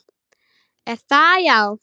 Er það, já?